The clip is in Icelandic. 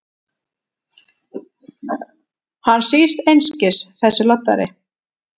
Hann svífst einskis, þessi loddari!